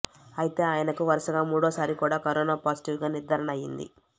అయితే ఆయనకు వరుసగా మూడోసారి కూడా కరోనా పాజిటివ్గా నిర్దారణ అయింది